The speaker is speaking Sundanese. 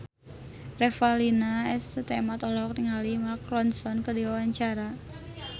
Revalina S. Temat olohok ningali Mark Ronson keur diwawancara